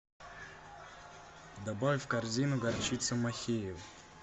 добавь в корзину горчицу махеевъ